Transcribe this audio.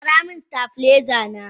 Gyara min stabiliser na!